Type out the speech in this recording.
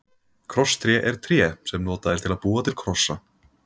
Krosstré er tré sem notað er til að búa til krossa.